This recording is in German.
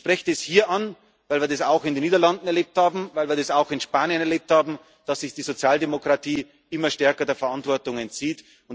Ich spreche das hier an, weil wir das auch in den Niederlanden erlebt haben, weil wir das auch in Spanien erlebt haben, dass sich die Sozialdemokratie immer stärker der Verantwortung entzieht.